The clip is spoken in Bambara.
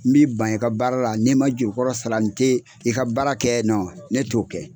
N m'i ban i ka baara la n'i man juru kɔrɔ sara n tɛ i ka baara kɛ ne t'o kɛ.